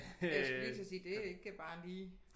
Jeg skulle lige til at sige det er ikke bare lige